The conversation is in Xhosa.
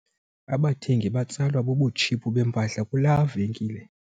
Abathengi batsalwa bubutshiphu bempahla kulaa venkile.